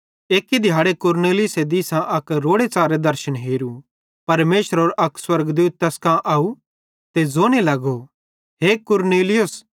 एक्की दिहाड़े कुरनेलियुस दिसां अक रोड़े च़ारे दर्शन हेरू परमेशरेरो अक स्वर्गदूत तैस कां आव ते ज़ोने लगो हे कुरनेलियुस